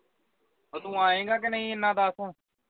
ਓਹ ਤੂੰ ਆਏਗਾ ਕਿ ਨਹੀਂ ਇੰਨਾ ਦੱਸ